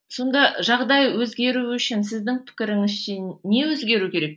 сонда жағдай өзгеру үшін сіздің пікіріңізше не өзгеру керек